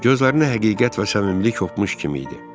Gözlərində həqiqət və səmimilik hopmuş kimi idi.